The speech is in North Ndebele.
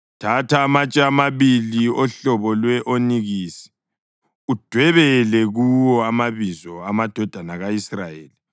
Thatha amatshe amabili ohlobo lwe-onikisi udwebele kuwo amabizo amadodana ka-Israyeli